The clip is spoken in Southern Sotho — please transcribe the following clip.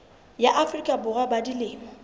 ya afrika borwa ba dilemo